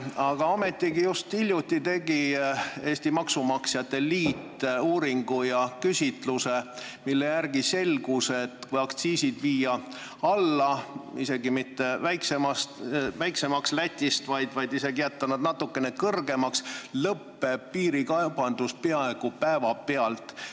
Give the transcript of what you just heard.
Aga ometigi just hiljuti tegi Eesti Maksumaksjate Liit uuringu ja küsitluse, mille järgi selgus, et kui aktsiisid alla viia, isegi mitte väiksemaks Läti omadest, vaid jätta nad natukene kõrgemaks, siis lõpeb piirikaubandus peaaegu päevapealt.